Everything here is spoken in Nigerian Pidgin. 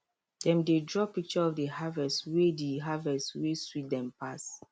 dem dey draw picture of the harvest wey the harvest wey sweet dem pass